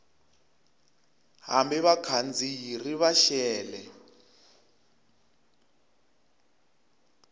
hambi vakhandziyi ri va xele